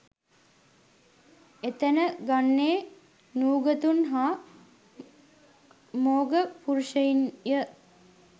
එතැන ගන්නේ නූගතුන් හා මෝඝ පුරුෂයින්ය